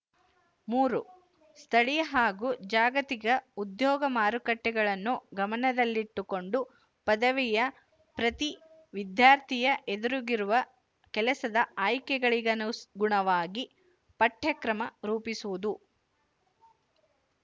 ಮೂರು ಸ್ಥಳೀಯ ಹಾಗು ಜಾಗತಿಕ ಉದ್ಯೋಗ ಮಾರುಕಟ್ಟೆಗಳನ್ನು ಗಮನದಲ್ಲಿಟ್ಟುಕೊಂಡು ಪದವಿಯ ಪ್ರತಿ ವಿದ್ಯಾರ್ಥಿಯ ಎದುರಿಗಿರುವ ಕೆಲಸದ ಆಯ್ಕೆಗಳಿಗನುಗುಣವಾಗಿ ಪಠ್ಯಕ್ರಮ ರೂಪಿಸುವುದು